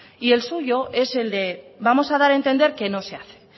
y el suyo es el de vamos a dar a entender que no se hace